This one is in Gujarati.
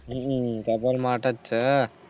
હમ couple માટે છે